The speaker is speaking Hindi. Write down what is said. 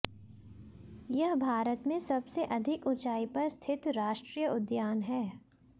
यह भारत में सबसे अधिक ऊंचाई पर स्थित राष्ट्रीय उद्यान हैं